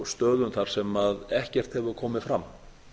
stöðum þar sem ekkert hefur komið fram